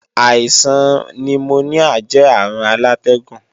Àìsàn nimoníà jẹ́ àrùn alátẹ́gùn